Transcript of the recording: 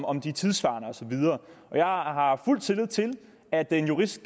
om de er tidssvarende og så videre jeg har fuld tillid til at en jurist